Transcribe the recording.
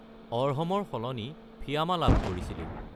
অৰ্হম ৰ সলনি ফিয়ামা লাভ কৰিছিলোঁ।